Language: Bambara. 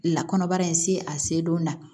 Lakanabara in se a se don na